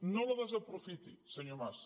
no la desaprofiti senyor mas